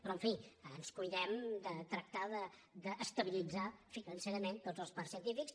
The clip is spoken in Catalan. però en fi ens cuidem de tractar d’estabilitzar financerament tots els parcs científics